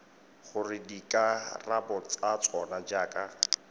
gore dikarabo tsa tsona jaaka